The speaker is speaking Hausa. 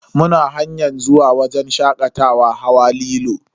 Muna hanyar zuwa wajen shakatawa hawa lilo.